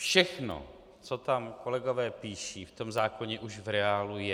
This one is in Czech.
Všechno, co tam kolegové píší, v tom zákoně už v reálu je.